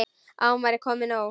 Að nú væri komið nóg.